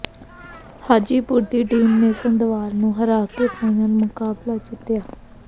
ਹਾਜੀਪੁਰ ਦੀ ਟੀਮ ਨੇ ਸੰਧਵਾਲ ਨੂੰ ਹਰਾ ਕੇ ਫਾਈਨਲ ਮੁਕਾਬਲਾ ਜਿੱਤਿਆ